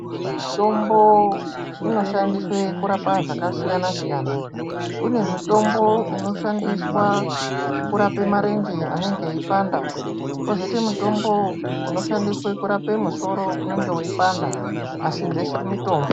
Mitombo inoshandiswe kurapa zvakasiyana siyana, kune mitombo inoshandiswe kurapa marenje anenge eipanda kozoite musoro unenge weipanda, asi zveshe mutombo.